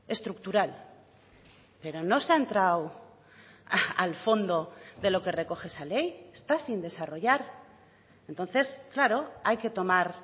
estructural pero no se ha entrado al fondo de lo que recoge esa ley está sin desarrollar entonces claro hay que tomar